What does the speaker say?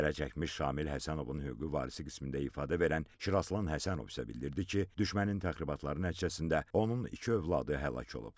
Zərərçəkmiş Şamil Həsənovun hüquqi varisi qismində ifadə verən Şiraslan Həsənov isə bildirdi ki, düşmənin təxribatları nəticəsində onun iki övladı həlak olub.